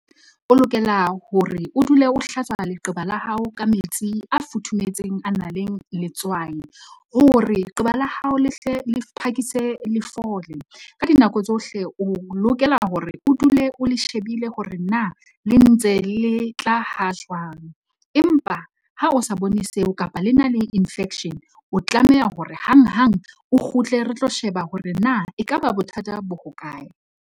O lokela hore o dule o hlatswa leqeba la hao ka metsi a futhumetseng, a nang le letswai, hore leqeba la hao le hle le phakise le fola ka dinako tsohle. O lokela hore o dule o le shebile hore na le ntse le tla ha jwang. Empa ha o sa bone seo kapa le na le infection, o tlameha hore hang hang o kgutle, re tlo sheba hore na ekaba bothata bo hokae.